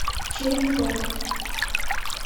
черемхово